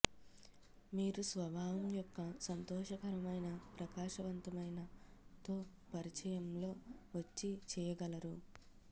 మీరు స్వభావం యొక్క సంతోషకరమైన ప్రకాశవంతమైన తో పరిచయం లో వచ్చి చెయ్యగలరు